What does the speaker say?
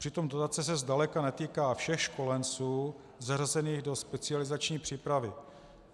Přitom dotace se zdaleka netýká všech školenců zařazených do specializační přípravy.